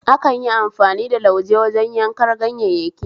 Akanyi amfani da lauje wajen yankar ganyayyaki